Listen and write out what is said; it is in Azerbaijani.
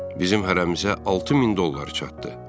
Bizim hərəmizə 6000 dollar çatdı.